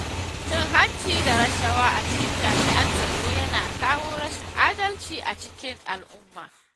Cin hanci da rashawa a cikin jami'an tsaro Yana kawo rashin adalci a cikin al'umma.